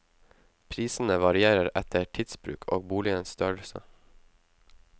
Prisene varierer etter tidsbruk og boligens størrelse.